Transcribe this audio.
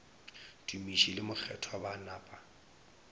tumiši le mokgethwa ba napa